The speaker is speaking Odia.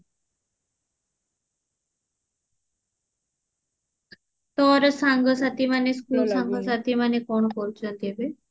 ତୋର ସାଙ୍ଗସାଥି ମାନେ school ସାଙ୍ଗସାଥି ମାନେ କଣ କରୁଛନ୍ତି ଏବେ